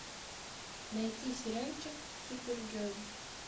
найти сериальчик супергерл